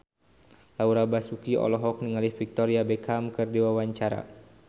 Laura Basuki olohok ningali Victoria Beckham keur diwawancara